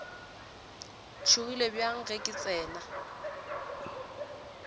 tšhogile bjang ge ke tsena